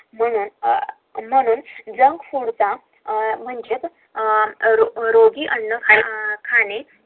म्हणून JUNK FOOD म्हणजे रोगी अन्न खाणे